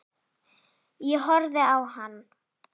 Ég horfði á hann.